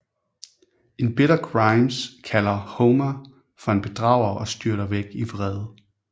En bitter Grimes kalder Homer for en bedrager og styrter væk i vrede